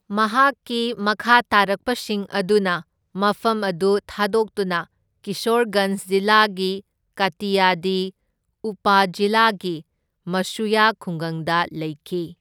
ꯃꯍꯥꯛꯀꯤ ꯃꯈꯥꯇꯥꯔꯛꯄꯁꯤꯡ ꯑꯗꯨꯅ ꯃꯐꯝ ꯑꯗꯨ ꯊꯥꯗꯣꯛꯇꯨꯅ ꯀꯤꯁꯣꯔꯒꯟꯖ ꯖꯤꯂꯥꯒꯤ ꯀꯥꯇꯤꯌꯥꯗꯤ ꯎꯄꯥꯖꯤꯂꯥꯒꯤ ꯃꯁꯨꯌꯥ ꯈꯨꯡꯒꯪꯗ ꯂꯩꯈꯤ꯫